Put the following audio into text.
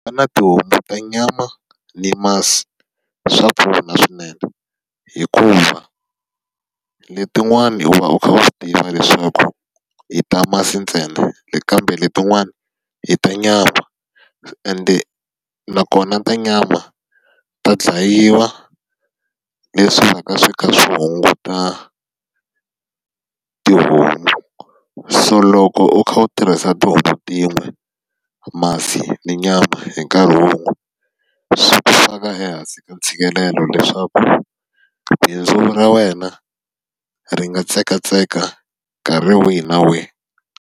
Ku va na tihomu ta nyama ni masi swa pfuna swinene. Hikuva letin'wana u va kha va swi tiva leswaku i ta masi ntsena kambe letin'wana hi ta nyama. Ende nakona ta nyama ta dlayiwa, leswi nga ta va swi kha swi hunguta tihomu. So loko u kha u tirhisa tihomu tin'we, masi na nyama hi nkarhi wun'we, swi ku faka ehansi ka ntshikelelo leswaku bindzu ra wena ri nga tsekatseka nkarhi wihi na wihi.